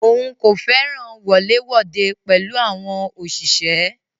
Òun kò fẹràn wọlé wode pẹ̀lú àwọn òṣìṣẹ́.